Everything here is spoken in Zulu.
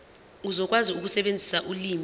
uzokwazi ukusebenzisa ulimi